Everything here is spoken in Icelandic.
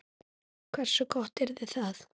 Hversu gott yrði það?